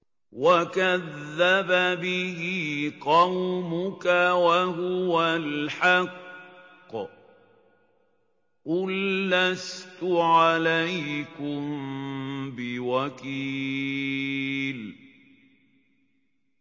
وَكَذَّبَ بِهِ قَوْمُكَ وَهُوَ الْحَقُّ ۚ قُل لَّسْتُ عَلَيْكُم بِوَكِيلٍ